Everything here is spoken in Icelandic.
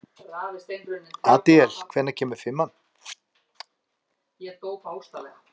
Adíel, hvenær kemur fimman?